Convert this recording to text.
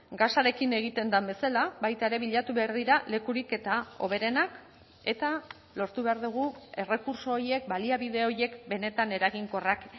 gasarekin egiten den bezala baita ere bilatu behar dira lekurik eta hoberenak eta lortu behar dugu errekurtso horiek baliabide horiek benetan eraginkorrak